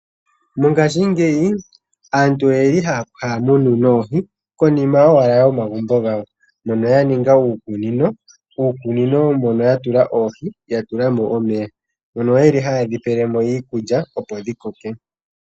Mongashingeyi aantu ohaya munu oohi konima owala yomagumbo gawo hono ya ninga uukunino, muukunino mono ya tula mo oohi ya tula mo omeya, mono haye dhi pele mo iikulya opo dhi koke.